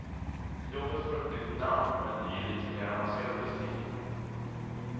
Jobbet får ett nytt namn och en ny lite mer avancerad beskrivning.